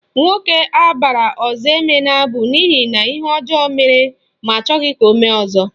Nwoke abara Ozoemena bụ n'ihi na ihe ọjọọ mere ma achọghị ka o mee ọzọ